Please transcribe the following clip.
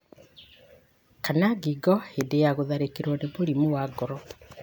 kana ngingo hĩndĩ ya gũtharĩkĩrũo nĩ mũrimũ wa ngoro.